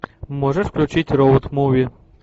можешь включить роуд муви